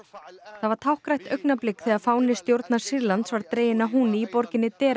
það var táknrænt augnablik þegar fáni stjórnar Sýrlands var dreginn að hún í borginni